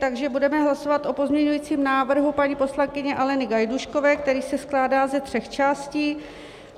Takže budeme hlasovat o pozměňujícím návrhu paní poslankyně Aleny Gajdůškové, který se skládá ze tří částí.